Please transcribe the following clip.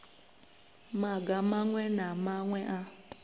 maga maṅwe na maṅwe a